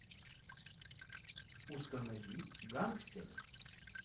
установи гангстеры